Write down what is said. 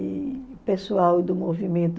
E o pessoal do movimento...